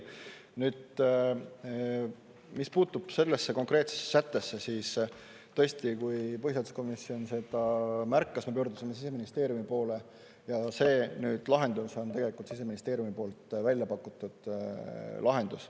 Nüüd mis puutub sellesse konkreetsesse sättesse, siis tõesti, kui põhiseaduskomisjon seda märkas, me pöördusime Siseministeeriumi poole ja see lahendus on tegelikult Siseministeeriumi poolt väljapakutud lahendus.